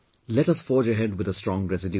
Let us forge ahead with a strong resolution